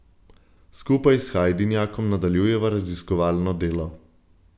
Skupaj s Hajdinjakom nadaljujeva raziskovalno delo.